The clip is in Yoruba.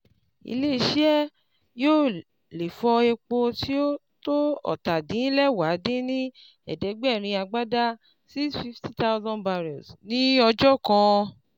ilé iṣẹ́ yóò lè fọ epo tó tó ọ́ta-din-lẹwá dín ní ẹ̀ẹ́dẹ́gbẹ́rin agbada (650,000 barrels) ní ọjọ́ kan.